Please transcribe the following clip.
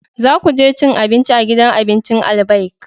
Za ku je cin abinci a gidan abincin Albaik!